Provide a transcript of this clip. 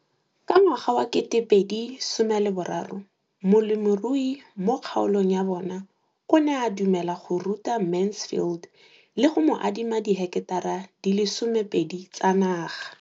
Ka ngwaga wa 2013, molemirui mo kgaolong ya bona o ne a dumela go ruta Mansfield le go mo adima di heketara di le 12 tsa naga.